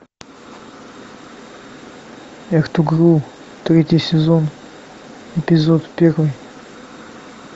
третий сезон эпизод первый